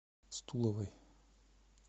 стуловой